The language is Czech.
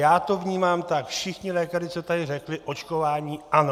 Já to vnímám tak - všichni lékaři, co tady řekli, očkování ano.